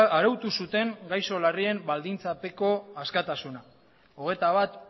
arautu zuten gaixo larrien baldintzapeko askatasuna hogeita bat